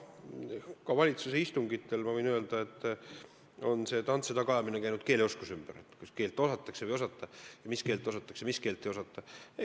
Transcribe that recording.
Ka valitsuse istungitel, ma võin öelda, on tants ja tagaajamine käinud keeleoskuse ümber, kas keelt osatakse või ei osata ning mis keelt osatakse ja mis keelt ei osata.